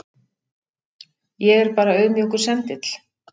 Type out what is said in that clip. Ég er bara auðmjúkur sendill.